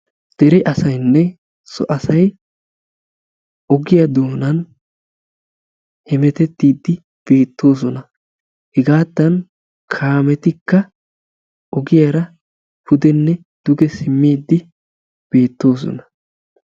Deree asaynne so asay ogiya doonaani hemettettiidi beettoosona, hegaattan kaametikka ogiyaara pudenne duge simmidi beettoosona.